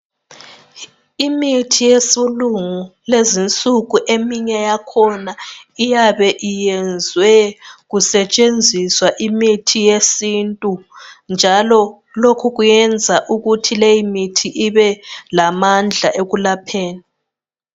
Imithi yesilungu lezinsuku eminye yakhona iyabe iyenzwe kusetshenziswa imithi yesintu njalo lokhu kuyenza ukuthi leyi mithi ibelamandla ekulapheni